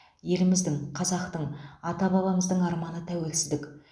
еліміздің қазақтың ата бабамыздың арманы тәуелсіздік